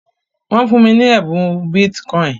nwọn fun mi ẹbùn Bitcoin